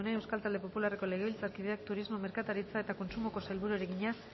de munain euskal talde popularreko legebiltzarkideak turismo merkataritza eta kontsumoko sailburuari egina